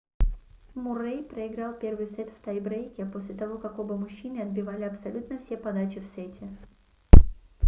муррэй проиграл первый сет в тай-брейке после того как оба мужчины отбивали абсолютно все подачи в сете